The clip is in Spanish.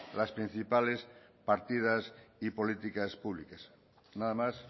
las principales partidas y políticas públicas nada más